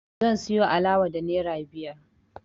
Zan siyo alawa da naira biyar